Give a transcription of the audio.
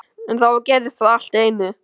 En þá gerðist það allt í einu.